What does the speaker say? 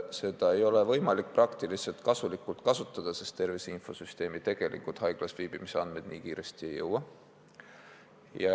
Seda võimalust ei saa ka praktiliselt kasutada, sest tervise infosüsteemi tegelikult haiglas viibimise andmed nii kiiresti ei jõua.